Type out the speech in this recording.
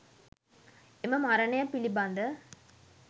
එම මරණය පිළිබඳ